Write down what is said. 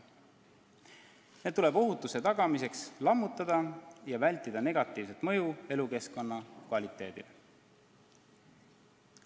Need tuleb ohutuse tagamiseks lammutada, et vältida negatiivset mõju elukeskkonna kvaliteedile.